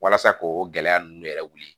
Walasa ko o gɛlɛya ninnu yɛrɛ wuli